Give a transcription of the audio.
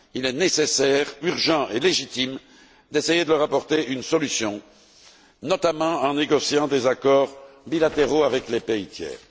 Il est nécessaire, urgent et légitime d'essayer d'y apporter une solution, notamment en négociant des accords bilatéraux avec les pays tiers.